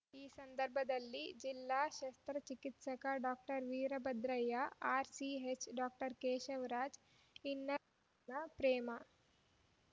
ಈ ಸಂದರ್ಭದಲ್ಲಿ ಜಿಲ್ಲಾ ಶಸ್ತ್ರ ಚಿಕಿತ್ಸಕ doctor Veerabhadraiah RCH doctor Keshavaraj ಇನ್ನರ್‌ವ್ಹೀಲ್‌ನ ಪ್ರೇಮ